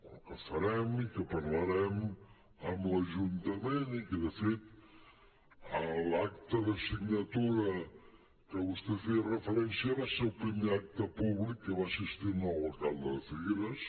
o que farem i que parlarem amb l’ajuntament i que de fet l’acte de signatura a què vostè feia referència va ser el primer acte públic a què va assistir el nou alcalde de figueres